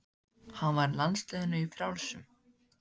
Hann var í landsliðinu í frjálsum.